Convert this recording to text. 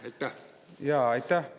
Aitäh!